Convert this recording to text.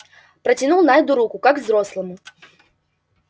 протянул найду руку как взрослому